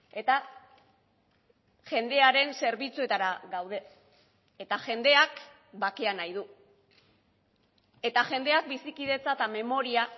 eta jendearen zerbitzuetara gaude eta jendeak bakea nahi du eta jendeak bizikidetza eta memoria